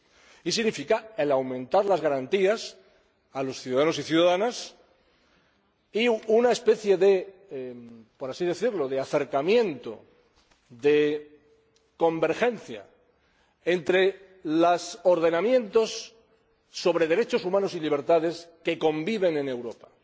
y significa aumentar las garantías a los ciudadanos y ciudadanas y, por decirlo así, una especie de acercamiento, de convergencia entre los ordenamientos sobre derechos humanos y libertades que conviven en Europa